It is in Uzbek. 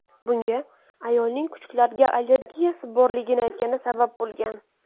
Bunga ayolning kuchuklarga allergiyasi borligini aytgani sabab bo‘lgan.